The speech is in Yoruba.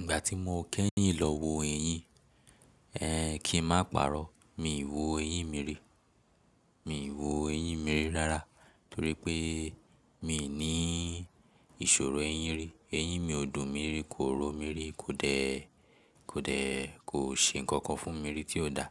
Ìgbà tí mo kẹ́yìn lọ wo eyín, ẹ kí n má parọ́. Mi ò wo eyín mi rí. Mi ò wo eyín mi rí rárá torí pé mi n í ìṣòro eyín rí. Eyín mi ò dùn mi rí, kò rọ mi rí, kò dẹ̀, kò dẹ̀, kò ṣe ǹkankan fún mi rí tí ó da.